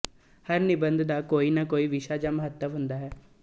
ਹਰ ਨਿਬੰਧ ਦਾ ਕੋਈ ਨਾ ਕੋਈ ਵਿਸ਼ਾ ਜਾਂ ਮੰਤਵ ਹੁੰਦਾ ਹੈ